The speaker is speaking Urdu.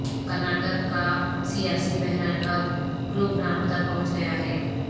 کرناٹک کاسیاسی بحران اب گروگرام تک پہنچ گیا ہے